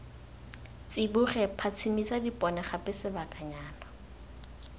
tsiboge phatsimisa dipone gape sebakanyana